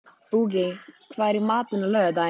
Bogey, hvað er í matinn á laugardaginn?